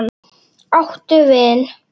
Áttu vin?